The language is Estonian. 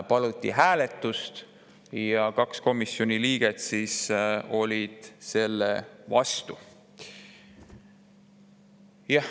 Paluti hääletust ja kaks komisjoni liiget olid selle vastu.